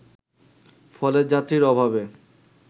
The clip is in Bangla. ফলে যাত্রীর অভাবে